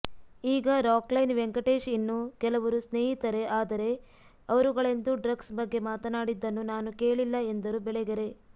ಈಗ ರಾಕ್ಲೈನ್ ವೆಂಕಟೇಶ್ ಇನ್ನೂ ಕೆಲವರು ಸ್ನೇಹಿತರೆ ಆದರೆ ಅವರುಗಳೆಂದೂ ಡ್ರಗ್ಸ್ ಬಗ್ಗೆ ಮಾತನಾಡಿದ್ದನ್ನು ನಾನು ಕೇಳಿಲ್ಲ ಎಂದರು ಬೆಳಗೆರೆ